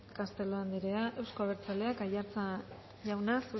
castelo andrea euzko abertzaleak aiartza jauna